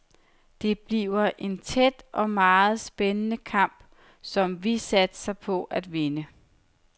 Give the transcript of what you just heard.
Det bliver en tæt og meget spændende kamp, som vi satser på at vinde.